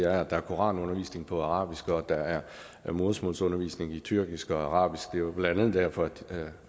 at der er koranundervisning på arabisk og at der er modersmålsundervisning på tyrkisk og arabisk det er jo blandt andet derfor at